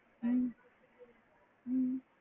ஹம் ஹம்